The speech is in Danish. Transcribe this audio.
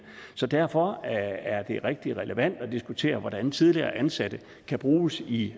så derfor er det rigtig relevant at diskutere hvordan tidligere ansatte kan bruges i